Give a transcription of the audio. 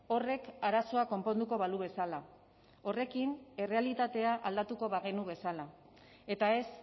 horrek arazoa konponduko balu bezala horrekin errealitatea aldatuko bagenu bezala eta ez